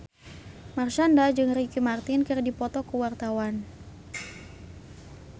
Marshanda jeung Ricky Martin keur dipoto ku wartawan